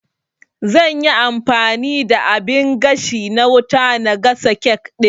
Zanyi amfani da abin gashi na wuta na gasa kek ɗin